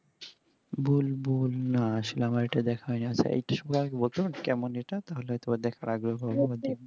বুলবুল না আসলে আমার ইটা দেখা হয়নি কেমন ইটা তাহলে একবার